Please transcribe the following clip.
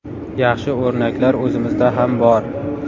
Yaxshi o‘rnaklar o‘zimizda ham bor.